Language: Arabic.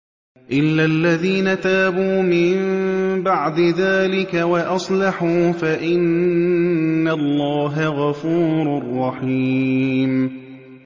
إِلَّا الَّذِينَ تَابُوا مِن بَعْدِ ذَٰلِكَ وَأَصْلَحُوا فَإِنَّ اللَّهَ غَفُورٌ رَّحِيمٌ